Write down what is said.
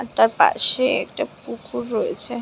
একটা পাশে একটা পুকুর রয়েছে।